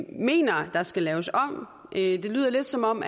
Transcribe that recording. mener der skal laves om det lyder lidt som om